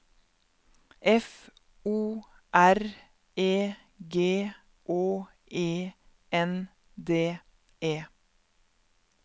F O R E G Å E N D E